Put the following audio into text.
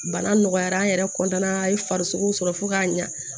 Bana nɔgɔyara an yɛrɛ an ye farisogo sɔrɔ fo k'a ɲa